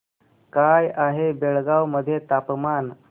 काय आहे बेळगाव मध्ये तापमान